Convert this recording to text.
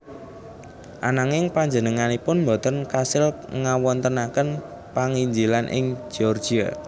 Ananging panjenenganipun boten kasil ngawontenaken panginjilan ing Georgia